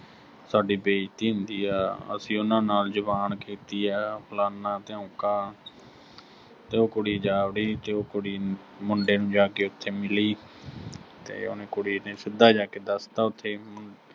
ਸਾਡੀ ਬੇਇਜ਼ਤੀ ਹੁੰਦੀ ਆ, ਅਸੀਂ ਉਨ੍ਹਾਂ ਨਾਲ ਜ਼ੁਬਾਨ ਕੀਤੀ ਆ ਅਹ ਫਲਾਨਾ-ਧਿਓਂਕਾ, ਤੇ ਉਹ ਕੁੜੀ ਜਾਵੜੀ ਤੇ ਉਹ ਕੁੜੀ ਮੁੰਡੇ ਨੂੰ ਜਾ ਕੇ ਉਥੇ ਮਿਲੀ ਤੇ ਉਹਨੇ ਕੁੜੀ ਨੇ ਸਿੱਧਾ ਜਾ ਕੇ ਦੱਸ ਤਾ ਉਥੇ